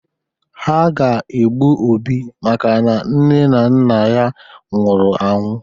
Ha ga-egbu Obi makana nne na nna ya nwụrụ anwụ.